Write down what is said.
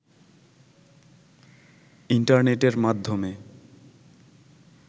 ইন্টারনেটের মাধ্যমে